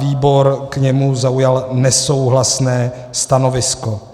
Výbor k němu zaujal nesouhlasné stanovisko.